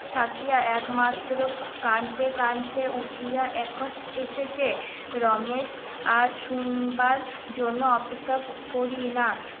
থাকিয়া একমাত্র কাঁদতে কাঁদতে উঠিয়া এখন এসেছে রমেশ আর শুনবার জন্য অপেক্ষা করি না